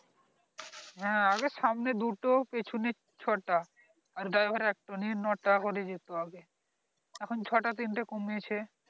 হ্যাঁ আগে সামনে দু টো পিছনে, ছো টা আর driver এর একটা নিয়ে নো টা করে যেতো আগে এখন ছো টা তিন তে কমেছে